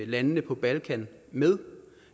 landene på balkan med